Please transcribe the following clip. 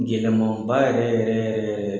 Gɛlɛmanba yɛrɛ yɛrɛ yɛrɛ yɛrɛ